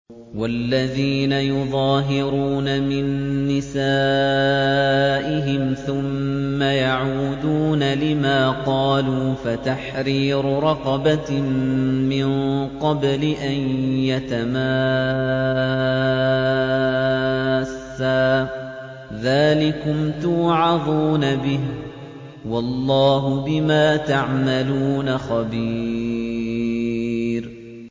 وَالَّذِينَ يُظَاهِرُونَ مِن نِّسَائِهِمْ ثُمَّ يَعُودُونَ لِمَا قَالُوا فَتَحْرِيرُ رَقَبَةٍ مِّن قَبْلِ أَن يَتَمَاسَّا ۚ ذَٰلِكُمْ تُوعَظُونَ بِهِ ۚ وَاللَّهُ بِمَا تَعْمَلُونَ خَبِيرٌ